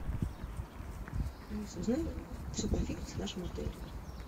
алиса узнай все про фитнес в нашем отеле